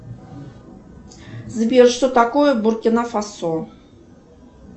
сбер что такое буркина фасо